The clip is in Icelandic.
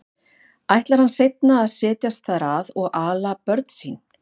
Ætlar hann seinna að setjast þar að og ala börn sín?